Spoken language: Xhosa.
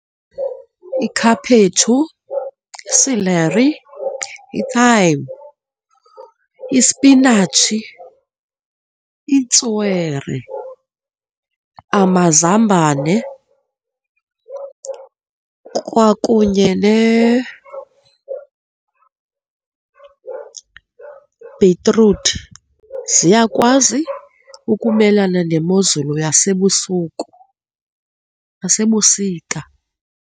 Ikhaphetshu, i-celery, i-thyme, isipinatshi, itswere, amazambane kwakunye nebhitruthi ziyakwazi ukumelana nemozulu yasebusuku, yasebusika.